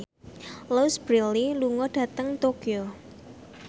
Louise Brealey lunga dhateng Tokyo